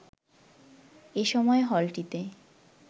এ সময় হলটিতে